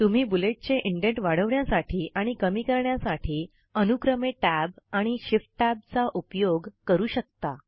तुम्ही बुलेटचे इंडेंट वाढवण्यासाठी आणि कमी करण्यासाठी अनुक्रमे Tab आणि Shift Tab चा उपयोग करू शकता